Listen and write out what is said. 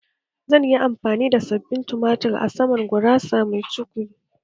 Zan yi amfani da sabbin tumatur a saman gurasa mai cukwi